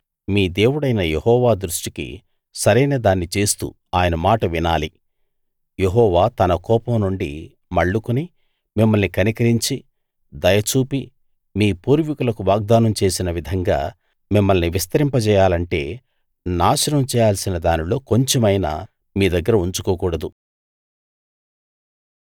మీ దేవుడైన యెహోవా దృష్టికి సరైన దాన్ని చేస్తూ ఆయన మాట వినాలి యెహోవా తన కోపం నుండి మళ్లుకుని మిమ్మల్ని కనికరించి దయ చూపి మీ పూర్వీకులకు వాగ్దానం చేసిన విధంగా మిమ్మల్ని విస్తరింపజేయాలంటే నాశనం చేయాల్సిన దానిలో కొంచెమైనా మీ దగ్గర ఉంచుకోకూడదు